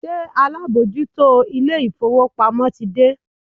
Ṣé alábòójútó ilé-ìfowópamọ́ ti dé?